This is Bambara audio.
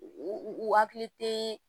U u hakili tɛ